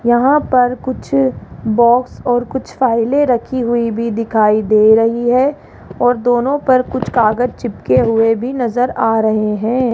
यहां पर कुछ बॉक्स और कुछ फाइलें रखी हुई भी दिखाई दे रही है और दोनों पर कुछ कागज चिपके हुए भी नजर आ रहे हैं।